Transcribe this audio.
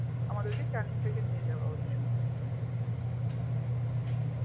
আমাদেরকে ক্যানিং থেকে নিয়ে যাওয়া হয়েছিল